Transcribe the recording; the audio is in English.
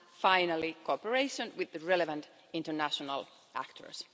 and, finally, cooperation with the relevant international actors.